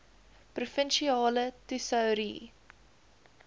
provinsiale tesourie